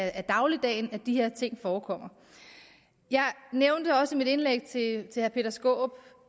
af dagligdagen at de her ting forekommer jeg nævnte også i mit indlæg til herre peter skaarup